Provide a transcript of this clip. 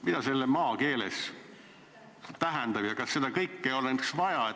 " Mida see maakeeles tähendab ja kas seda kõike oleks vaja?